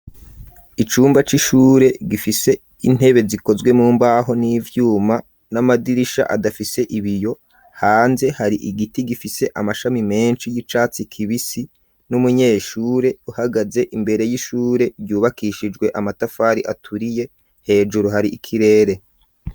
icumba c'ishure gifise intebe zikozwe mu mbaho n'ivyuma n'amadirisha adafise ibiyo hanze hari igiti gifise amashami menshi y'icatsi kibisi n'umunyeshure uhagaze imbere y'ishure ryubakishijwe amatafari aturiye hejuru hari ikirere.